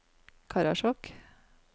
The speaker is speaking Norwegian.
Karasjok